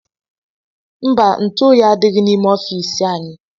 Mba, ntụ oyi adịghị n'ime ọfiisi anyị.